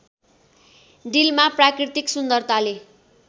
डिलमा प्राकृतिक सुन्दरताले